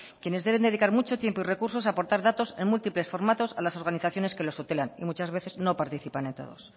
quienes deben dedicar mucho tiempo y recursos a aportar datos en múltiples formatos a las organizaciones que los tutelan y muchas veces no participan en todos